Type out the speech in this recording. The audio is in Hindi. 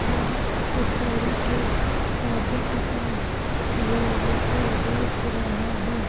वह स्टेशनरी के कॉपी किताब लोगों को बेच रहा है।